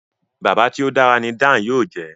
Bàbá tí o dára ní Dàn yóò jé.